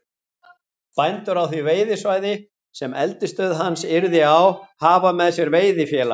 Bændur á því veiðisvæði, sem eldisstöð hans yrði á, hafa með sér veiðifélag